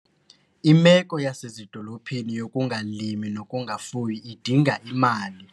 Imeko yasezidolophini yokungalimi nokungafuyi idinga imali.